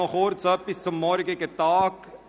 Noch kurz etwas zum morgigen Tag: